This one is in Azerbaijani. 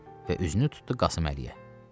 Və üzünü tutdu Qasıməliyə.